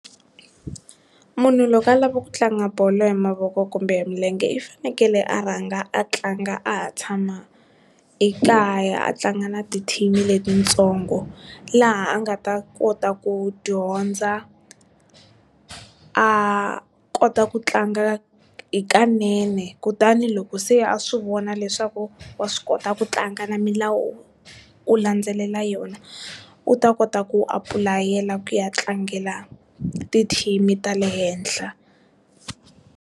Munhu loko a lava ku tlanga bolo hi mavoko kumbe milenge i fanekele a rhanga a tlanga a ha tshama ekaya, a tlanga na ti-team-i letitsongo laha a nga ta kota ku dyondza a kota ku tlanga hikanene, kutani loko se a swi vona leswaku wa swi kota ku tlanga na milawu u landzelela yona u ta kota ku apulayela ku ya tlangela ti-team-i ta le henhla.